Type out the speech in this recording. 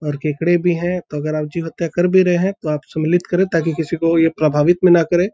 और केकड़े भी हैं तो अगर आप जीव हत्या कर भी रहे हैं तो आप सुमलित करे ताकि किसी को ये प्रभावित भी ना करे।